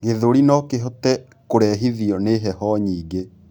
gĩthũri nokihote kurehithio ni heho nyingĩ